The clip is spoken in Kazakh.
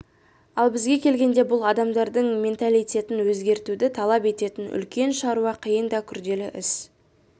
ал бізге келгенде бұл адамдардың менталитетін өзгертуді талап ететін үлкен шаруа қиын да күрделі іс